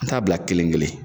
An t'a bila kelen kelen